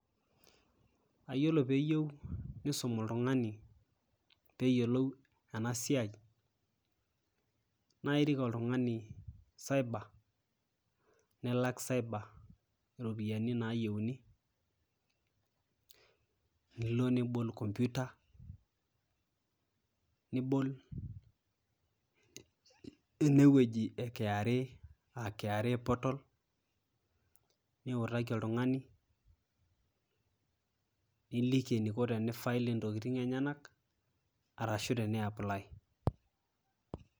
Yiolo piyieu nisum oltungani peyiolou ena siai ,naa irik oltungani cyber . Nilak cyber iropiyiani nayieuni nilo nibol computer , nibol ene wueji e kra aa kra portal , niutaki oltungani, niliki eniko teni file intokitin enyenak, arashu tene ]cs]apply.